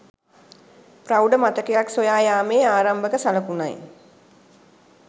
ප්‍රෞඪ මතකයක් සොයා යාමේ ආරම්භක සලකුණයි